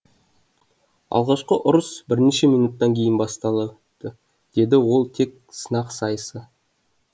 алғашқы ұрыс бірнеше минуттан кейін басталады деді ол тек сынақ сайысы